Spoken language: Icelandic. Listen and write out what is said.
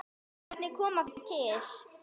Hvernig kom það til?